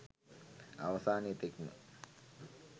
අවසානය තෙක්ම